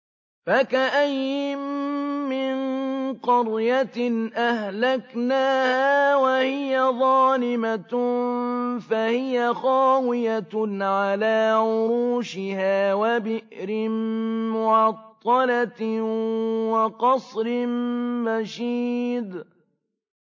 فَكَأَيِّن مِّن قَرْيَةٍ أَهْلَكْنَاهَا وَهِيَ ظَالِمَةٌ فَهِيَ خَاوِيَةٌ عَلَىٰ عُرُوشِهَا وَبِئْرٍ مُّعَطَّلَةٍ وَقَصْرٍ مَّشِيدٍ